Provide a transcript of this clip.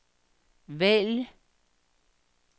vælg